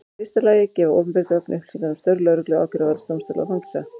Í fyrsta lagi gefa opinber gögn upplýsingar um störf lögreglu, ákæruvalds, dómstóla og fangelsa.